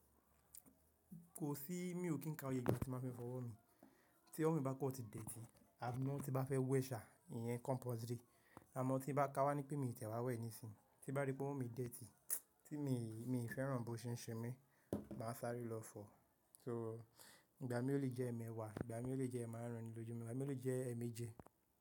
Kò sí, mi ò kí ń ka oyè ìgbà tí máa fẹ́ fọwọ́ mi. Tí ọwọ mi bá kọ́ tí dè tí, àmọ́ tí bá fẹ́ wẹ̀ ṣá, ìyẹn compulsory. Àmọ́ tí bá ka wá ní pé mi tẹ̀ wá wẹ̀ nísìnyí, tí bá rí pé ọmlwo mi dè tí, tí mi, mi fẹ́ràn bó ṣe ń ṣe mí, màá sáré lọ fọ. So, ìgbà mí ò lè jẹ́ ẹ̀mẹ́wàà, ìgbà mí ò lè jẹ́ ẹ̀máran ni lójú mi, ìgbà mí ò lè jẹ́ ẹ̀méje.